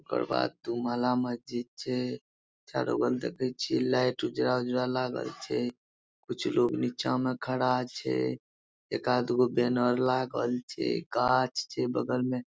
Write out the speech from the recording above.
ओकर बाद दू महला महजिद छे चारो बगल देखे छिये लाइट उजरा-उजरा लागल छे कुछ लोग नीचे म खड़ा छे एका दुगो बैनर लागल छे गाछ छे बगल में --